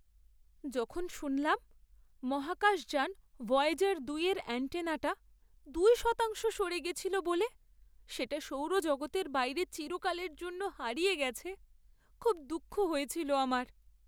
যখন শুনলাম মহাকাশযান ভয়েজার দুই এর অ্যান্টেনাটা দুই শতাংশ সরে গেছিল বলে সেটা সৌরজগতের বাইরে চিরকালের জন্য হারিয়ে গেছে, খুব দুঃখ হয়েছিল আমার।